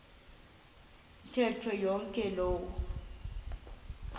ntetho yonke loo